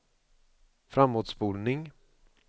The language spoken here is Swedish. framåtspolning